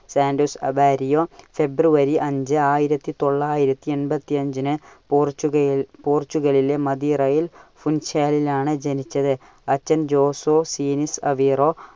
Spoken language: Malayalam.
സാന്റോസ് അവാരിയോ February അഞ്ച് ആയിരത്തി തൊള്ളായിരത്തി എൺപത്തി അഞ്ചിന് പോർചുഗലി~പോർച്ചുഗലിലെ മദിരയിൽ ഫുൻഷയിലാണ് ജനിച്ചത്. അച്ഛൻ ജോസോ ഫീനിസ് അവേറോ